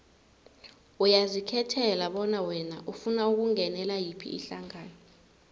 uyazikhethela bona wena ufuna ukungenela yiphi ihlangano